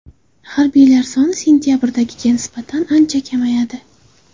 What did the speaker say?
Harbiylar soni sentabrdagiga nisbatan ancha kamayadi.